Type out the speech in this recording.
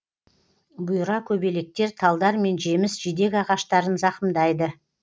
бұйра көбелектер талдар мен жеміс жидек ағаштарын зақымдайды